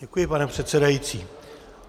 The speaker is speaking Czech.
Děkuji, pane předsedající.